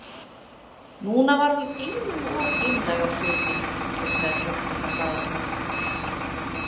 Núna var hún einum of einlæg á svipinn, hugsaði tortryggna blaðakonan.